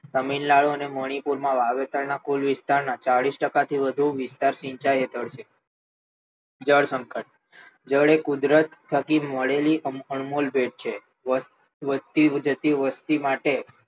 તમિલનાડુ અને મનુપુરના વાવેતર ના કુલ વિસ્તારના કુલ વિસ્તારના ચાલીશ ટકા થી વધુ ભાગ સિંચાઈ હેઠળ છે જળ સંકટ જળ એ કુદરત થી મળેલી અનમોલ ભેટ છે વસ્તી વધતી જતી વસ્તી માટે